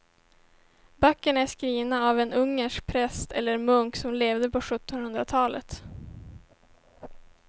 Böckerna är skrivna av en ungersk präst eller munk som levde på sjuttonhundratalet.